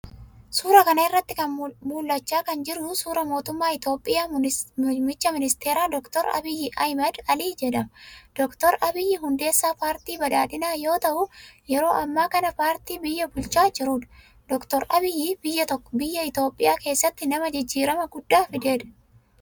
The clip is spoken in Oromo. Suura kana irratti mul'achaa kan jiru suura mootummaa Itoophiyaa Muummicha Minsteera Doktor Abiy Ahimad Ali jedhama. Doktr Abiy hudeessaa paartii padhaadhinaa yoo ta'u yeroo ammaa kana paartii biyya bulchaa jirudha. Doktor Abiy biyya Itoophiyaa keessatti nama jijjirama guddaa fidedha.